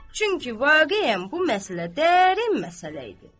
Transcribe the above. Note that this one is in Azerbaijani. Çünki vaqeən bu məsələ dərin məsələ idi.